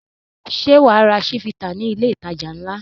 Ṣé wà á ra Chivita ní ilé-ìtajà ńlá?